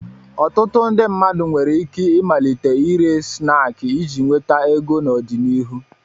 Ọtụtụ ndị mmadụ nwere ike ịmalite ire snaakị iji nweta ego n'ọdịnihu.